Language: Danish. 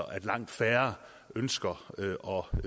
at langt færre ønsker